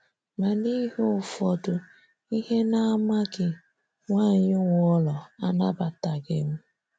Ma n'ihi ụfọdụ ihe na-amaghị, nwanyị nwe ụlọ anabataghị m.